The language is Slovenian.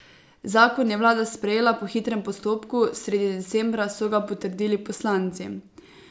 Zakon je vlada sprejela po hitrem postopku, sredi decembra so ga potrdili poslanci.